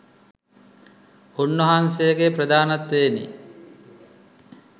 උන්වහන්සේගේ ප්‍රධානත්වයෙනි